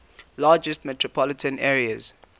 largest metropolitan areas